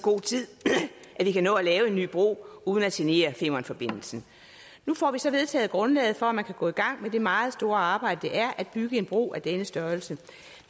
god tid at vi kan nå at lave en ny bro uden at genere femernforbindelsen nu får vi så vedtaget grundlaget for at man kan gå i gang med det meget store arbejde det er at bygge en bro af denne størrelse